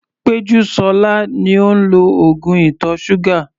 Pejusola ni ó ń lo oògùn ìtọ̀ ṣúgà.